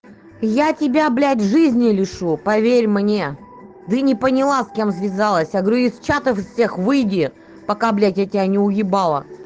я тебя блядь жизни лишу поверь мне ты не поняла с кем связалась я говорю из чатов всех выйди пока блядь я тебя не уебала